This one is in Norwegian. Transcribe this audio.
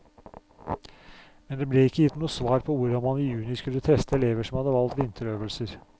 Men det ble ikke gitt noe svar på hvordan man i juni skulle teste elever som hadde valgt vinterøvelser.